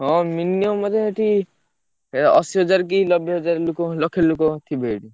ହଁ minimum ବୋଧେ ସେଠି ଏ ଅଶି ହଜାରେ କି ନବେ ହଜାରେ ଲକ୍ଷେ ଲୋକ ଥିବେ ସେଇଠି।